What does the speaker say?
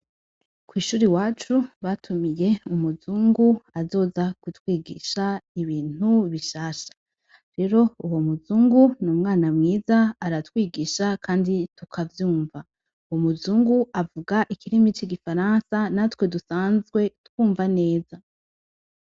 kw’ishuri iwacu batumiye umuzungu azoza ku twigisha ibintu bishasha rero uwo muzungu n'umwana mwiza aratwigisha kandi tukavyumva, Umuzungu avuga ikirimi c'igifaransa natwe dusanzwe twumva neza.